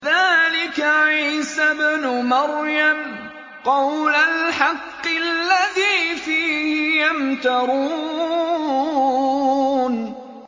ذَٰلِكَ عِيسَى ابْنُ مَرْيَمَ ۚ قَوْلَ الْحَقِّ الَّذِي فِيهِ يَمْتَرُونَ